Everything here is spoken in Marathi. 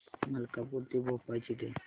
मलकापूर ते भोपाळ ची ट्रेन